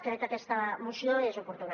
crec que aquesta moció és oportuna